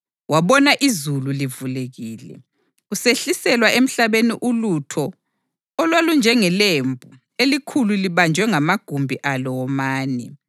Wabona izulu livulekile, kusehliselwa emhlabeni ulutho olwalunjengelembu elikhulu libanjwe ngamagumbi alo womane.